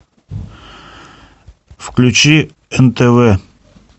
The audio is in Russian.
включи нтв